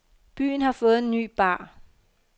Byen har fået en ny bar.